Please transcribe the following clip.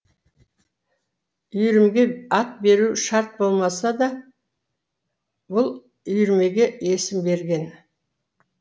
үйірмеге ат беру шарт болмаса да бұл үйірмеге есім берген